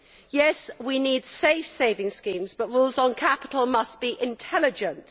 Yes, we need safe saving schemes, but rules on capital must be intelligent.